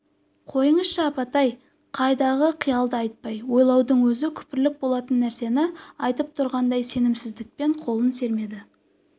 қойыңызшы апатай қайдағы қиялды айтпай ойлаудың өзі күпірлік болатын нәрсені айтып тұрғандай сенімсіздікпен қолын сермеді